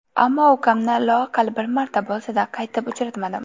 Ammo ukamni loaqal bir marta bo‘lsa-da, qaytib uchratmadim.